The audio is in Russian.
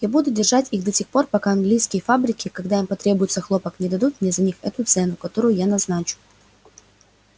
я буду держать их до тех пор пока английские фабрики когда им потребуется хлопок не дадут мне за них эту цену которую я назначу